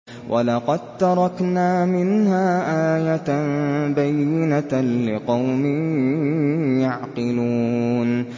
وَلَقَد تَّرَكْنَا مِنْهَا آيَةً بَيِّنَةً لِّقَوْمٍ يَعْقِلُونَ